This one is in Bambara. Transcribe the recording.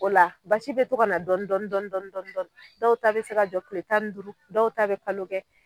O la, basi be to ka na dɔɔnii dɔɔni dɔɔni dɔɔni. O la dɔw ta be se jɔ kile tan duuru dɔw ta be kalo kɛ.